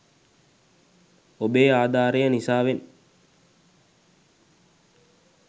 ඔබේ ආධාරය නිසාවෙන්